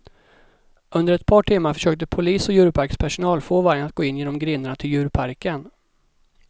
Under ett par timmar försökte polis och djurparkspersonal få vargen att gå in genom grindarna till djurparken.